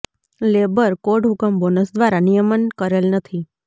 labour code હુકમ bonus દ્વારા નિયમન કરેલ નથી